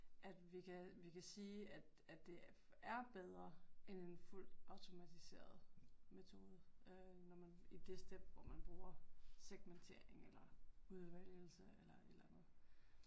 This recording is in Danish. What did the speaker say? At vi kan vi kan sige at at det er bedre end en fuldt automatiseret metode øh når man i det step hvor man bruger segmentering eller udvælgelse eller et eller andet